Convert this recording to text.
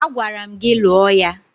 Agwara m gị lụọ ya!